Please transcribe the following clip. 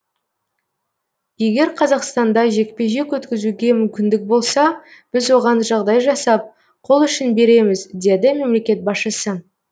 егер қазақстанда жекпе жек өткізуге мүмкіндік болса біз оған жағдай жасап қол ұшын береміз деді мемлекет басшысы